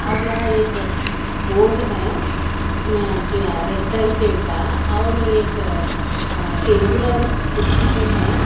और यहां एक बोर्ड है अं ब्लै रेड शेड का और एक अं टेबल और कुर्सी भी है।